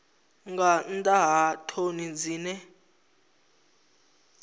nga nnḓa ha ṱhoni dzine